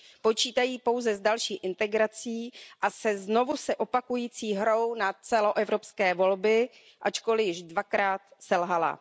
Počítají pouze s další integrací a se znovu se opakující hrou na celoevropské volby, ačkoliv již dvakrát selhala.